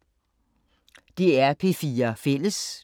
DR P4 Fælles